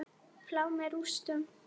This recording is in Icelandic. Flá með rústum.